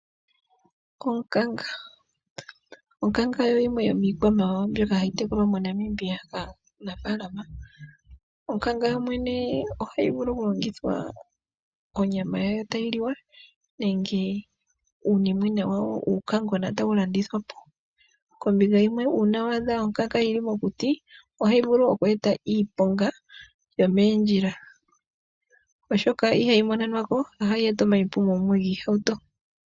Onkanga oyo yimwe yomiikwamawawa mbyoka hayi tekulwa moNamibia kaanafalama. Onkanga yomwene ohayi vulu okulongithwa onyama yayo tayi liwa, nenge uunimwena wayo uunkangona tawu landithwa po. Kombinga yimwe uuna wa adha onkanga yili mokuti ohayi vulu okweeta iiponga yomoondjila, oshoka ihayi monenwa ko. Ohayi eta omaipumo mumwe giihauto.